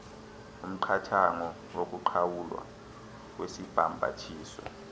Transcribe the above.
umqathango wokuqhawulwa kwesibhambathiso